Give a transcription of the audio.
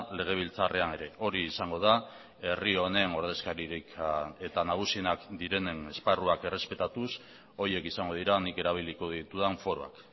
legebiltzarrean ere hori izango da herri honen ordezkaririk eta nagusienak direnen esparruak errespetatuz horiek izango dira nik erabiliko ditudan foroak